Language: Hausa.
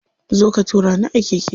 Zo ka tura ni a keke.